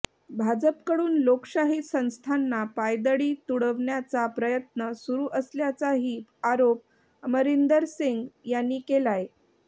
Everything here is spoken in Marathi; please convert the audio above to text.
भाजपकडून लोकशाही संस्थांना पायदळी तुडवण्याचा प्रयत्न सुरू असल्याचाही आरोप अमरिंदर सिंह यांनी केलाय